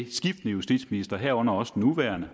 justitsministre herunder også den nuværende